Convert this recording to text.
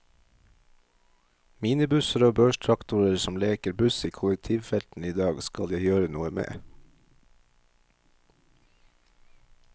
Minibusser og børstraktorer som leker buss i kollektivfeltene i dag, skal jeg gjøre noe med.